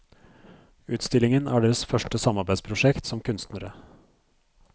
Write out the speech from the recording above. Utstillingen er deres første samarbeidsprosjekt som kunstnere.